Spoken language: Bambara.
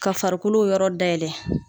Ka farikolo o yɔrɔ dayɛlɛ